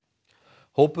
hópur